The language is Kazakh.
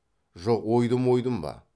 жоқ ойдым ойдым ба